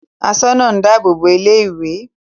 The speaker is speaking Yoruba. Asoona dáàbò bo ilé-ìwé.